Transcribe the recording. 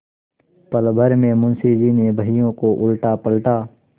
पलभर में मुंशी जी ने बहियों को उलटापलटा